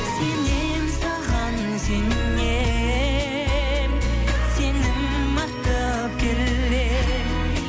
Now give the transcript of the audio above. сенемін саған сенемін сенім артып келемін